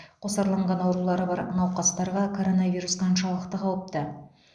қосарланған аурулары бар науқастарға коронавирус қаншалықты қауіпті